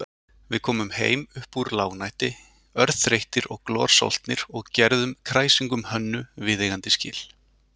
Við komum heim uppúr lágnætti örþreyttir og glorsoltnir og gerðum kræsingum Hönnu viðeigandi skil.